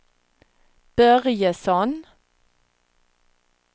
Börjesson